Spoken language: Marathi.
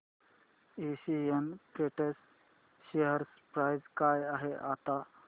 एशियन पेंट्स शेअर प्राइस काय आहे आता